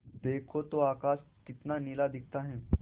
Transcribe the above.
देखो तो आकाश कितना नीला दिखता है